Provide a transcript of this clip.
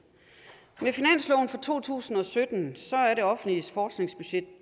med finansloven for to tusind og sytten er det offentlige forskningsbudget